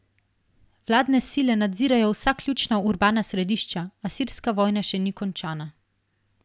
Vladne sile nadzirajo vsa ključna urbana središča, a sirska vojna še ni končana.